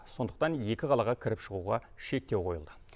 сондықтан екі қалаға кіріп шығуға шектеу қойылды